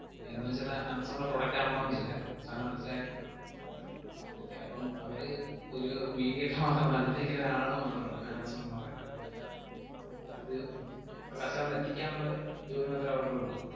എന്നുവെച്ചത് ആമസോണിൻറെ product ആവണോന്നില്ല. sir ന് മനസ്സിലായോ? okay അപ്പം അവര് ഒരു mediator മാത്രമാ, നടുക്ക് നിക്കുന്നൊരാള് മാത്രമാണ്, ആമസോൺ എന്നു പറയുന്നത്. ഇത് ആ customer ന് എത്തിക്കാന്നൊള്ള ജോലി മാത്രമേ അവർക്കൊള്ളൂ.